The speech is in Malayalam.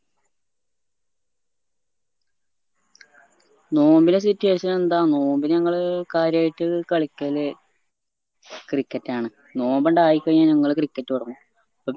നോമ്പിന്റെ situation എന്താ നോമ്പ് ഞങ്ങള് കാര്യായിട്ട് കളിക്കല് cricket ആണ് നോമ്പേണ്ടായിക്കഴിഞ്ഞാൽ ഞങ്ങള് cricket തൊടങ്ങും